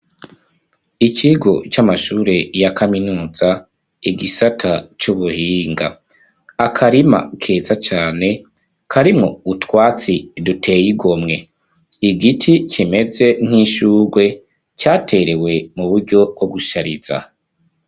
Ikigo c'amashure ya kaminuza, igisata c'ubuhinga. Akarima keza cane karimwo utwatsi duteye igomwe. Igiti kimeze nk'ishurwe caterewe mu buryo bwo gushariza.